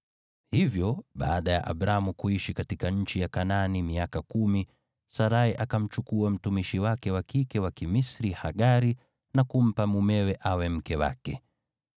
Hivyo baada ya Abramu kuishi katika nchi ya Kanaani miaka kumi, Sarai akamchukua mtumishi wake wa kike wa Kimisri, Hagari na kumpa mumewe awe mke wake.